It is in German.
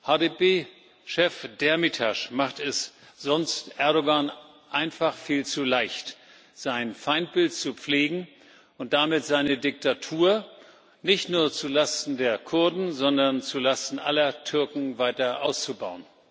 HDP Chef Demirtaş macht es sonst Erdoğan einfach viel zu leicht, sein Feindbild zu pflegen und damit seine Diktatur nicht nur zu Lasten der Kurden, sondern zu Lasten aller Türken weiter auszubauen.